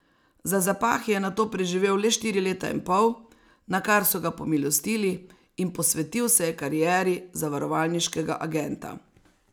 Za zapahi je nato preživel le štiri leta in pol, nakar so ga pomilostili in posvetil se je karieri zavarovalniškega agenta.